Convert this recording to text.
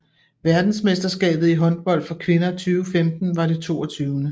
Verdensmesterskabet i håndbold for kvinder 2015 var det 22